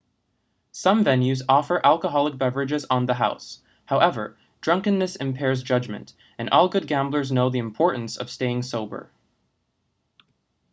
some venues offer alcoholic beverages on the house however drunkenness impairs judgement and all good gamblers know the importance of staying sober